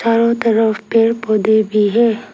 चारों तरफ पेड़ पौधे भी हैं।